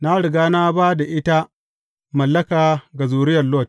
Na riga na ba da ita mallaka ga zuriyar Lot.